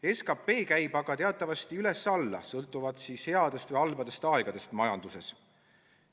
SKP käib aga teatavasti üles-alla, sõltuvalt headest ja halbadest aegadest majanduses.